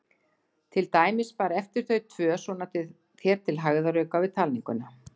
Til dæmis bara eftir þau tvö, svona þér til hægðarauka við talninguna?